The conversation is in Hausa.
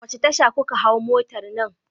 A wace tasha kuka hau motar nan?